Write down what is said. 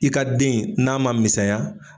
I ka den n'a ma misɛnya.